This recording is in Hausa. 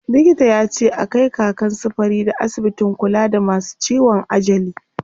Likita yace a kai Kakan su Farida asibitin kula da masu ciwon ajali.